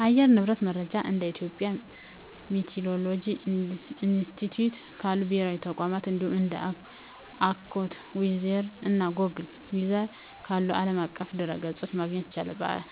የአየር ንብረት መረጃን እንደ የኢትዮጵያ ሚቲዎሮሎጂ ኢንስቲትዩት ካሉ ብሔራዊ ተቋማት፣ እንዲሁም እንደ AccuWeather እና Google Weather ካሉ ዓለም አቀፍ ድረ-ገጾች ማግኘት ይቻላል።